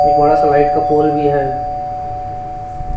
एक बड़ा सा लाइट का पोल भी है।